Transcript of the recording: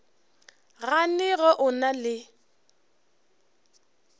gane ge o na le